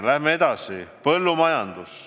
Läheme edasi: põllumajandus.